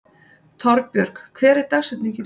Torbjörg, hver er dagsetningin í dag?